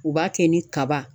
U b'a kɛ ni kaba.